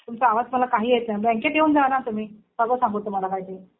तुमचा आवाज मला काही येत नाहीये. बँकेत येऊन जा ना तुम्ही. सगळं सांगू तुम्हाला माहिती.